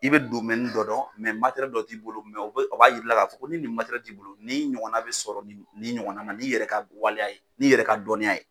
I be dɔ dɔn , dɔ t'i bolo o b'a jira k'a fɔ ko ni nin mara t'i bolo ni ɲɔgɔnna bɛ sɔrɔ ni ɲɔgɔnna ma'i yɛrɛ ka waleya ye n'i yɛrɛ ka dɔnniya ye.